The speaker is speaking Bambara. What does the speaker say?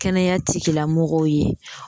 Kɛnɛya tigilamɔgɔw ye